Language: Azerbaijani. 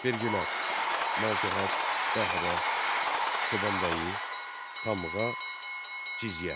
Vergilər: malcəhət, bəhrə, çobanbəyi, tamğa, cizyə.